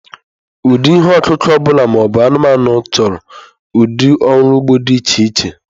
Ụdị ihe ọkụkụ ọbụla ma ọ bụ anụmanụ chọrọ ụdị ọrụ ugbo dị iche iche.